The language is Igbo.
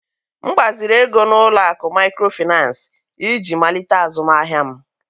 M gbaziri ego n'ụlọ akụ maịkrofịnans iji malite azụmahịa m.